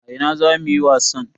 A ina zamu yi wasan?